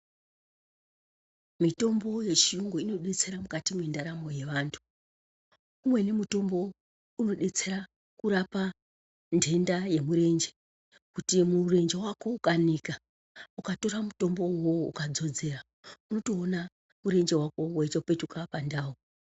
Mitombo yechiyungu inodetsera mukati mwendaramo yevantu .Umweni mutombo unodetsera kurapa ntenda yemurenje kuti mirenje wako ukanika ukatora mitombo uwowo ukadzodzera unotoona murenje wako weitopetuka pandau